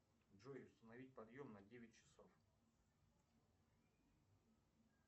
джой установить подъем на девять часов